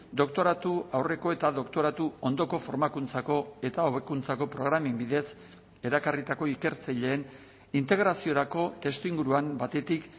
doktoratu aurreko eta doktoratu ondoko formakuntzako eta hobekuntzako programen bidez erakarritako ikertzaileen integraziorako testuinguruan batetik